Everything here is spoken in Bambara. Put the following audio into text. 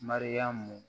Mariyamu